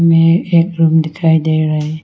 यह एक रूम दिखाई दे रहा है।